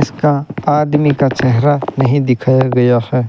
इसका आदमी का चेहरा नहीं दिखाया गया है।